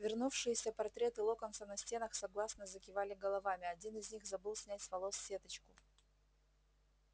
вернувшиеся портреты локонса на стенах согласно закивали головами один из них забыл снять с волос сеточку